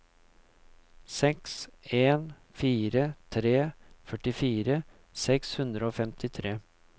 seks en fire tre førtifire seks hundre og femtitre